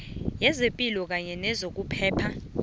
yezepilo kanye nezokuphepha